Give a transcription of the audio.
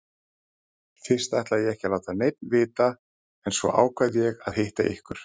Fyrst ætlaði ég ekki að láta neinn vita en svo ákvað ég að hitta ykkur.